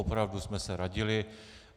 Opravdu jsme se radili.